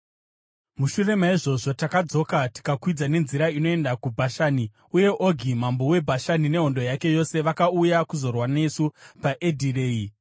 Mushure maizvozvo takadzoka tikakwidza nenzira inoenda kuBhashani, uye Ogi mambo weBhashani nehondo yake yose vakauya kuzorwa nesu paEdhirei.